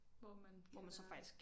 Hvor man kan være der